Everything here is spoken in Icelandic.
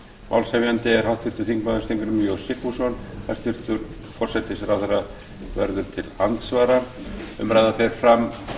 málshefjandi er háttvirtur þingmaður steingrímur j sigfússon hæstvirtur forsætisráðherra verður til andsvara umræðan fer fram